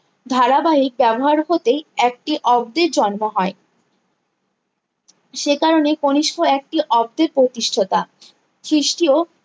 ধারাবাহিক ব্যবহার হতেই একটি অব্দের জন্ম হয় সে কারণে কনিস্ক একটি অব্দের প্রতিষ্ঠাতা খ্রিস্টীয়